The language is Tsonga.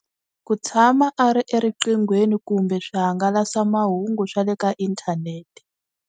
Ku tshama a ri eriqinghweni kumbe swihangalasa mahungu swa le ka inthanete.